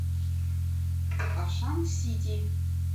ашан сити